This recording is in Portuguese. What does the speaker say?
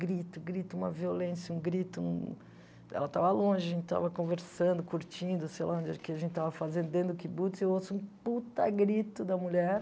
grito, grito, uma violência, um grito, ela estava longe, a gente estava conversando, curtindo, sei lá, onde o que a gente estava fazendo dentro do kibbutz, e eu ouço um puta grito da mulher,